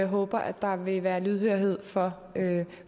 håber at der vil være lydhørhed for det